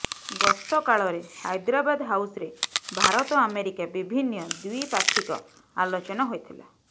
ଗସ୍ତକାଳରେ ହାଇଦ୍ରାବାଦ ହାଉସରେ ଭାରତ ଆମେରିକା ବିଭିନ୍ନ ଦ୍ୱିପାକ୍ଷିକ ଆଲୋଚନା ହୋଇଥିଲା